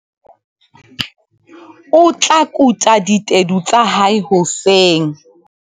O tla kuta ditedu tsa hae hoseng.